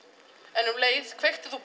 en um leið kveiktir þú